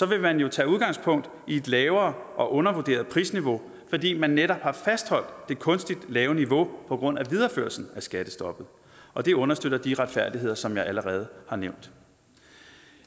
vil man jo tage udgangspunkt i et lavere og undervurderet prisniveau fordi man netop har fastholdt det kunstigt lave niveau på grund af videreførelsen af skattestoppet og det understøtter de uretfærdigheder som jeg allerede har nævnt